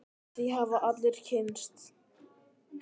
Því hafa allir kynnst.